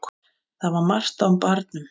Það var margt á barnum.